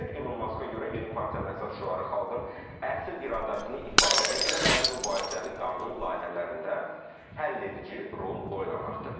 Elon Muska görə yeni partiyanın əsas şüarı xalqın əsl iradəsini ifadə etmək və mübahisəli qanun layihələrində həlledici rol oynamaqdır.